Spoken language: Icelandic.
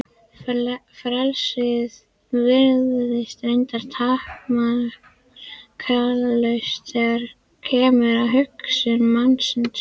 Frelsið virðist reyndar takmarkalaust þegar kemur að hugsun mannsins.